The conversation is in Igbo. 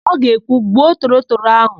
Ọ ga-ekwu, "gbuo torotoro áhụ̀"!